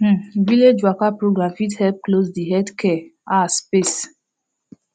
um village waka program fit help close de healthcare ah space